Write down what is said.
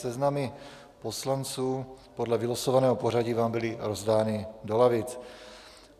Seznamy poslanců podle vylosovaného pořadí vám byly rozdány do lavic.